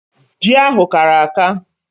Ji ahụ kara aka.